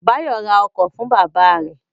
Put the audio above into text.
Báyọ̀ ra ọkọ̀ fún bábà rẹ̀